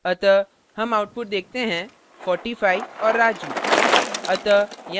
अतः हम output देखते हैं 45 और raju